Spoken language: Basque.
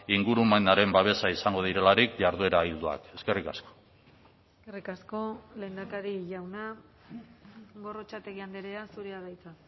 ingurumenaren babesa izango direlarik jarduera ildoak eskerrik asko eskerrik asko lehendakari jauna gorrotxategi andrea zurea da hitza